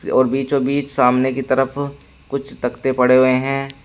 और बीचों बीच सामने की तरफ कुछ तख्ते पड़े हुए हैं।